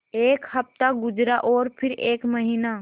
एक हफ़्ता गुज़रा और फिर एक महीना